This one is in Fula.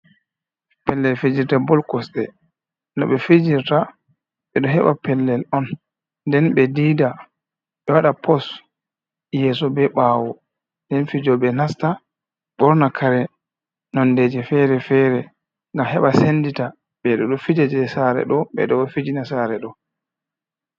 Pellel fijirde bol kosɗe, no ɓe fijirta ɓe ɗo heɓa pellel on nden ɓe diida, ɓe waɗa pos yeso be ɓawo, den fijo ɓe nasta ɓorna kare nondeje fere-fere ngam heɓa sendita ɓeɗo ɗo fija je sare ɗo, ɓe ɗo ɗo fijina sare ɗo.